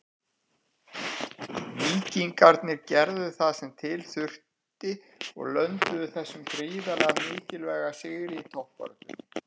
Víkingarnir gerðu það sem til þurfti og lönduðu þessum gríðarlega mikilvæga sigri í toppbaráttunni.